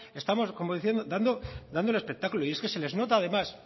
estamos dando el espectáculo y es que se les nota además